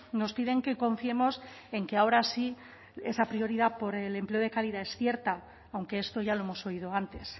nos piden que confiemos en que ahora sí esa prioridad por el empleo de calidad es cierta aunque esto ya lo hemos oído antes